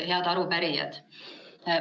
Head arupärijad!